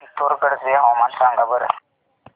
पिथोरगढ चे हवामान सांगा बरं